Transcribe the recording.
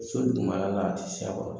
So dugumala la a tɛ se a kɔrɔ